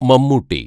Mammootty